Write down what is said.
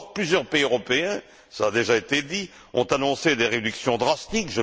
Or, plusieurs pays européens cela a déjà été dit ont annoncé des réductions draconiennes.